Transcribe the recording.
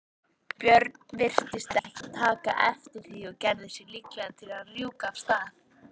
björn virtist ekki taka eftir því og gerði sig líklegan til að rjúka af stað.